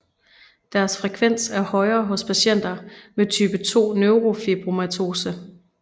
Deres frekvens er højere hos patienter med type 2 neurofibromatose